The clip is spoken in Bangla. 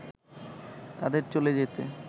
তাদের চলে যেতে